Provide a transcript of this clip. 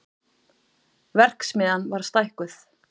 Verksmiðjan var stækkuð